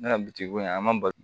Ne ka bitigi ko an ma bali